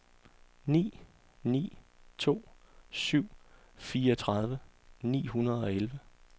ni ni to syv fireogtredive ni hundrede og elleve